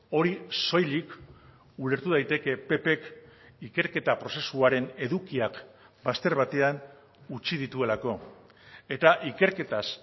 hori soilik ulertu daiteke ppk ikerketa prozesuaren edukiak bazter batean utzi dituelako eta ikerketaz